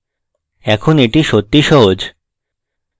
এখন easy সত্যিই সহজ